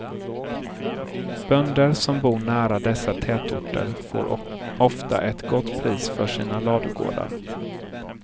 Bönder som bor nära dessa tätorter får ofta ett gott pris för sina ladugårdar.